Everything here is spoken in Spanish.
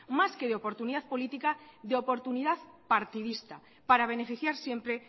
más que de oportunidad política de oportunidad partidista para beneficiar siempre